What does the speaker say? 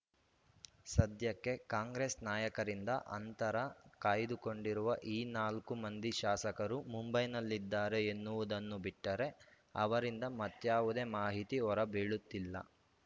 ಸದ್ಯಕ್ಕೆ ಕಾಂಗ್ರೆಸ್‌ ನಾಯಕರಿಂದ ಅಂತರ ಕಾಯ್ದುಕೊಂಡಿರುವ ಈ ನಾಲ್ಕು ಮಂದಿ ಶಾಸಕರು ಮುಂಬೈನಲ್ಲಿದ್ದಾರೆ ಎನ್ನುವುದನ್ನು ಬಿಟ್ಟರೆ ಅವರಿಂದ ಮತ್ಯಾವುದೇ ಮಾಹಿತಿ ಹೊರ ಬೀಳುತ್ತಿಲ್ಲ